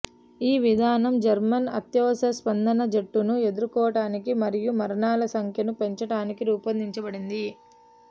ఈ విధానం జర్మన్ అత్యవసర స్పందన జట్లను ఎదుర్కోవటానికి మరియు మరణాల సంఖ్యను పెంచటానికి రూపొందించబడింది